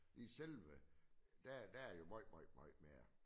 I selve der er jo megte meget meget mere